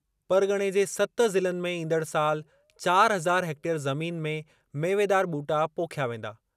परग॒णे जे सत ज़िलनि में ईंदड़ साल चार हज़ार हैक्टेयर ज़मीन में मेवेदार ॿूटा पोखिया वेंदा।